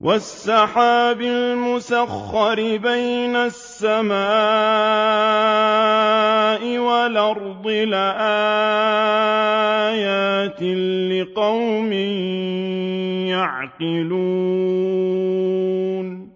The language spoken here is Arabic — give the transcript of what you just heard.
وَالسَّحَابِ الْمُسَخَّرِ بَيْنَ السَّمَاءِ وَالْأَرْضِ لَآيَاتٍ لِّقَوْمٍ يَعْقِلُونَ